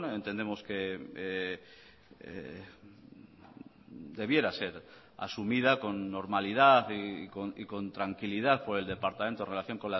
entendemos que debiera ser asumida con normalidad y con tranquilidad por el departamento en relación